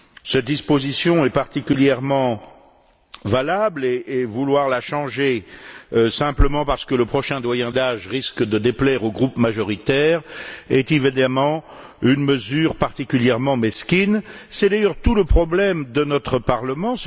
Cette disposition est particulièrement valable et vouloir la changer simplement parce que le prochain doyen d'âge risque de déplaire aux groupes majoritaires, est évidemment une mesure particulièrement mesquine. C'est d'ailleurs tout le problème de notre Parlement